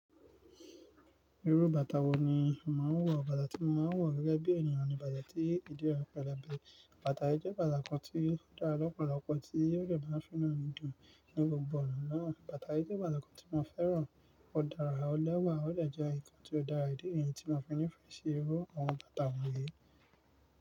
Irú bàtà wo ni o màá ń wọ̀? Bàtà tí màá ń wọ̀ gẹ́gẹ́ bí ènìyàn ni bàtà tí ìdí rẹ̀ pẹlẹbẹ. Bàtà yí jẹ bàtà kan tí ó dára lọ́pọ̀lọpọ̀ tí ọ̀rẹ́ máa ń fínà ní dùn ní gbogbo ọ̀nà náà. Bàtà yí jẹ bàtà kan tí mo fẹ́ràn. Ó dára, ó lẹ́wà, ó dẹ̀ jẹ́ ìkan tí ó dára. Dí èyí ni tí mo fi ní ìfẹ́ si irú àwọn bàtà wọ̀nyí.